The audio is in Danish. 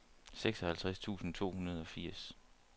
seksoghalvtreds tusind to hundrede og firs